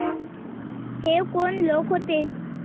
हे कोण लोक होते?